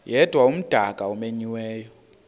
yedwa umdaka omenyiweyo